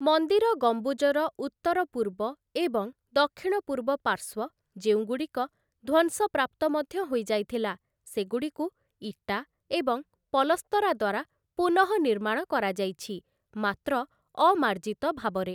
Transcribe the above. ମନ୍ଦିର ଗମ୍ବୁଜର ଉତ୍ତର ପୂର୍ବ ଏବଂ ଦକ୍ଷିଣ ପୂର୍ବ ପାର୍ଶ୍ୱ, ଯେଉଁଗୁଡ଼ିକ ଧ୍ୱଂସପ୍ରାପ୍ତ ମଧ୍ୟ ହୋଇଯାଇଥିଲା, ସେଗୁଡ଼ିକୁ ଇଟା ଏବଂ ପଲସ୍ତରା ଦ୍ୱାରା ପୁନଃନିର୍ମାଣ କରାଯାଇଛି, ମାତ୍ର ଅମାର୍ଜିତ ଭାବରେ ।